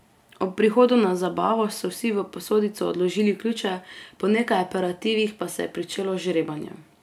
Ob prihodu na zabavo so vsi v posodico odložili ključe, po nekaj aperitivih pa se je pričelo žrebanje.